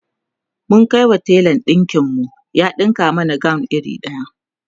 mun Kai wa telan ɗinkin mu ya ɗinka mana gawon iri daya